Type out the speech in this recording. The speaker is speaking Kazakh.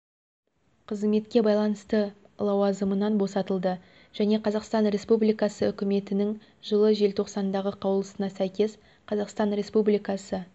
қызметке ауысуына байланысты лауазымынан босатылды және қазақстан республикасы үкіметінің жылы желтоқсандағы қаулысына сәйкес қазақстан республикасы